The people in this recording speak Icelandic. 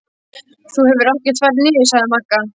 Þú hefur ekkert farið niður, sagði Magga.